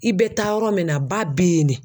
I bɛ taa yɔrɔ min na ba bɛ yen de.